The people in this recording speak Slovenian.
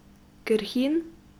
Krhin?